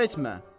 qəm etmə.